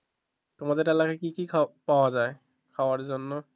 তোমাদের এলাকায় কি কি পাওয়া যায় খাবার জন্য?